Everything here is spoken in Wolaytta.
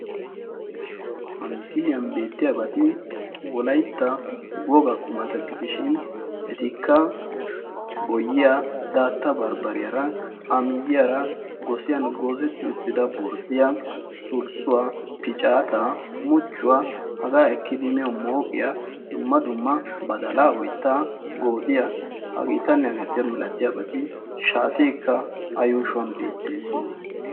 ha misiliyan beettiyaabaati wolaytta woga qumata gidishin etikka boyiya daatta barbbariyaara a miyiyaara gosiyan goozetti uttida borddiya sulssuwaa picaataa muchchuwaa hagaa ekki dimiyo mooqiya dumma dumma badalaa oittaa goodiyaa hageetanne hageeta milatiyaabaati shaateekka a yuushuwan beettees